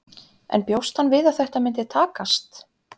En bjóst hann við að þetta myndi takast?